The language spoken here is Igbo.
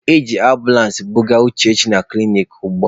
E ji ambụlansị buje Uchechi na klinik ugbua.